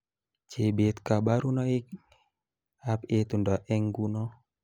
Chebet kabarunoikab itondo eng nguno